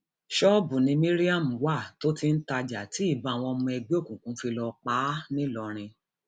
ṣọọbù ni mariam wà tó ti ń tajà tí ìbọn àwọn ọmọ ẹgbẹ òkùnkùn fi lọọ pa á ńìlọrin